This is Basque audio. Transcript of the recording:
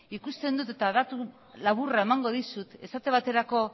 ikusten dut eta datu laburra emango dizut esate baterako